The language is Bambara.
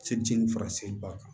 fara seliba kan